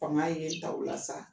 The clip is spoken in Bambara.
Fanga ye n ta o la sa.